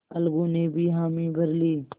अलगू ने भी हामी भर ली